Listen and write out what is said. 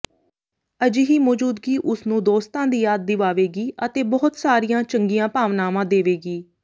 ਅਜਿਹੀ ਮੌਜੂਦਗੀ ਉਸ ਨੂੰ ਦੋਸਤਾਂ ਦੀ ਯਾਦ ਦਿਵਾਵੇਗੀ ਅਤੇ ਬਹੁਤ ਸਾਰੀਆਂ ਚੰਗੀਆਂ ਭਾਵਨਾਵਾਂ ਦੇਵੇਗੀ